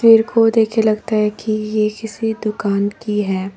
इनको देख के लगता है कि ये किसी दुकान की है।